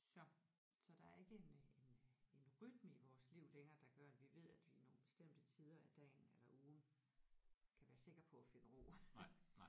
Så så der er ikke en øh en øh en rytme i vores liv længere der gør at vi ved at vi nogle bestemte tider af dagen eller ugen kan være sikker på at finde ro